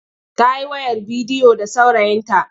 Ta yi wayar bidiyo da saurayinta.